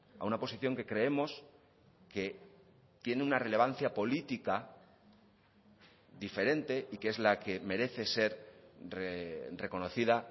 a una posición que creemos que tiene una relevancia política diferente y que es la que merece ser reconocida